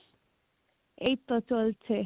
এইতো চলছে